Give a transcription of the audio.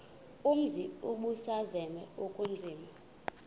umzi ubusazema ukuzinza